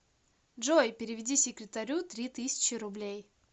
джой переведи секретарю три тысячи рублей